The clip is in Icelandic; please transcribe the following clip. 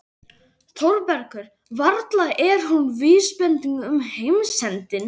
ÞÓRBERGUR: Varla er hún vísbending um heimsendi?